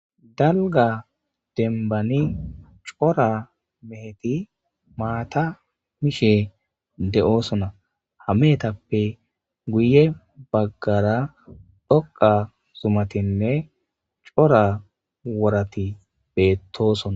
Dalga dembani cora meheti maata mishe de'oosona hameetappe guye baggara dhoqa zumatinne cora wurati beettosona.